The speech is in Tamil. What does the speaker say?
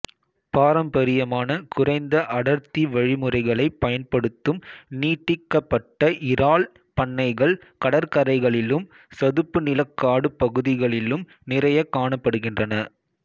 பாரம்பரியமான குறைந்த அடர்த்தி வழிமுறைகளைப் பயன்படுத்தும் நீட்டிக்கப்பட்ட இறால் பண்ணைகள் கடற்கரைகளிலும் சதுப்புநிலக் காட்டுப் பகுதிகளிலும் நிறையக் காணப்படுகின்றன